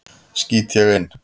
skýt ég inn.